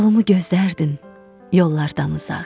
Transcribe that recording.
Yolumu gözdərdin yollardan uzaq.